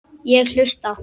Ég hlusta.